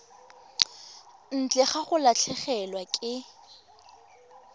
ntle ga go latlhegelwa ke